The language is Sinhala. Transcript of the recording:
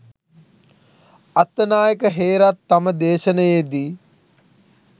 අත්තනායක හේරත් තම දේශණයේ දී